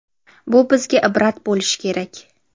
Bu bizga ibrat bo‘lishi kerak.